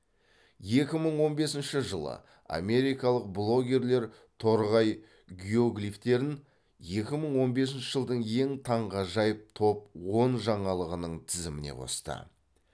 екі мың он бесінші жылы америкалық блогерлер торғай геоглифтерін екі мың он бесінші жылдың ең таңғажайып топ он жаңалығының тізіміне қосты